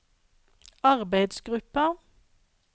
arbeidsgruppa